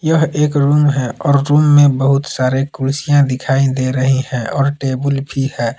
यह एक रूम है और रूम में बहुत सारे कुर्सियां दिखाई दे रही हैं और टेबुल भी है।